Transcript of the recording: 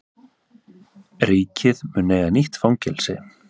Ríkið mun eiga nýtt fangelsi